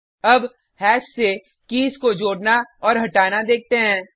अब हैश से कीज़ को जोडना और हटाना देखते हैं